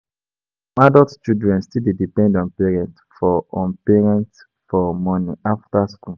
Some adult children still dey depend on parents for on parents for money after school.